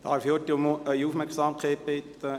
Darf ich kurz um Ihre Aufmerksamkeit bitten!